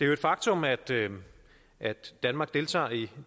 jo et faktum at at danmark deltager i